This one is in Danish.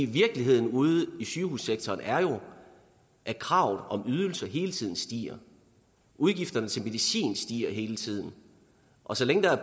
virkeligheden ude i sygehussektoren er jo at kravet om flere ydelser hele tiden stiger udgifterne til medicin stiger hele tiden og så længe der er